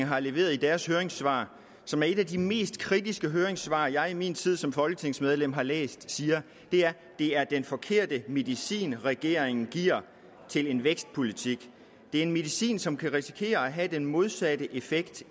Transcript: har leveret i deres høringssvar som er et af de mest kritiske høringssvar jeg i min tid som folketingsmedlem har læst er det er den forkerte medicin regeringen giver til en vækstpolitik det er en medicin som kan risikere at have den modsatte effekt